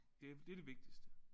Det det det vigtigste